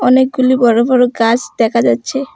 অনেকগুলি বড়ো বড়ো গাছ দেখা যাচ্ছে।